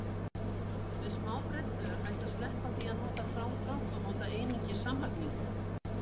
Með smábrellu er hægt að sleppa því að nota frádrátt og nota einungis samlagningu.